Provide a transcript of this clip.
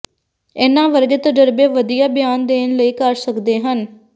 ਇਹਨਾਂ ਵਰਗੇ ਤਜਰਬੇ ਵਧੀਆ ਬਿਆਨ ਦੇਣ ਲਈ ਕਰ ਸਕਦੇ ਹਨ